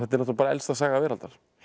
bara elsta saga veraldar